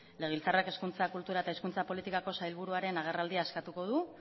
legebiltzarrak hezkuntza kultura eta hezkuntza politikako sailburuaren agerraldia eskatuko du